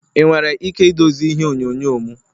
Ị nwere ike idozi ihe onyonyo m?